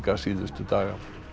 síðustu daga